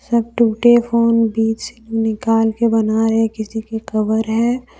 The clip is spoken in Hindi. तथा टूटे फोन बीच निकाल के बनाए किसी के कवर है।